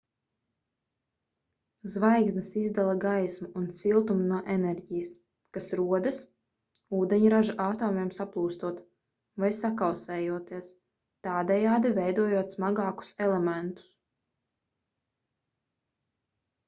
zvaigznes izdala gaismu un siltumu no enerģijas kas rodas ūdeņraža atomiem saplūstot vai sakausējoties tādējādi veidojot smagākus elementus